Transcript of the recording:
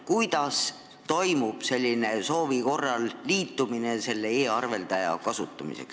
Kuidas toimub soovi korral liitumine selle e-arveldajaga?